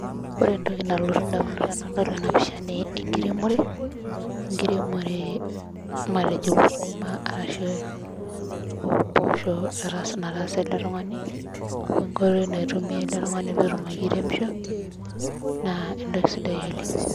Ore entoki nalotu indamunot tenadol enapisha naa enkiremore, enkiremore matejo sukuma arashu impoosho nataasa ele tung'ani, wenkoitoi naitumia ele tung'ani petum ake airemisho, naa entoki sidai oleng.